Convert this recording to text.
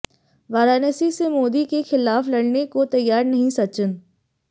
वाराणसी से मोदी के खिलाफ लड़ने को तैयार नहीं सचिन